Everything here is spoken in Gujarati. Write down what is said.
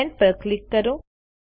સેન્ડ પર ક્લિક કરો